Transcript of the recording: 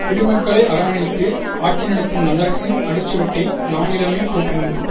குடிமக்களை அரவணைத்து ஆட்சி நடத்தும் நல்லரசின் அடிச்சுவட்டை நானிலமே போற்றி நிற்கும்